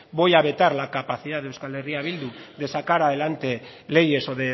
voy a vetar la capacidad de eh bildu de sacar adelante leyes o